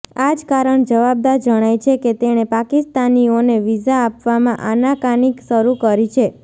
આ જ કારણ જવાબદાર જણાય છે કે તેણે પાકિસ્તાનીઓને વિઝા આપવામાં આનાકાની શરૂ કરી છે